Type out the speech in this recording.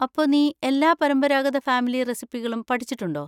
അപ്പൊ നീ എല്ലാ പരമ്പരാഗത ഫാമിലി റെസിപ്പികളും പഠിച്ചിട്ടുണ്ടോ?